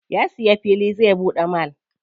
Ya siya fili zai buɗe mall.